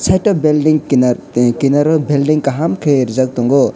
amo ke building kinnar kinar l building kaham ke reejak tongo.